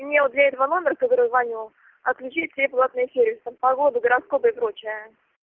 именно для этого номер который звонил отключить все платные сервисы погоду гороскопы и прочее